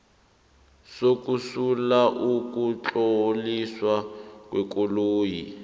sokusula ukutloliswa kwekoloyi